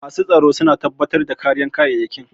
Masu tsaro su na tabbatar da kariyar kayyayakin